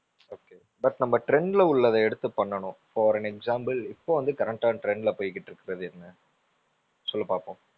okay but நம்ம trend ல உள்ளதை எடுத்து பண்ணனும் for an example இப்போ வந்து current ஆ trend ல போயிக்கிட்டு இருக்குறது என்ன? சொல்லு பாப்போம்.